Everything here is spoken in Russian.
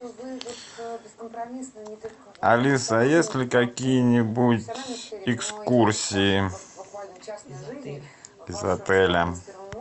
алиса есть ли какие нибудь экскурсии из отеля